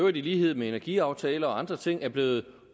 øvrigt i lighed med energiaftale og andre ting er blevet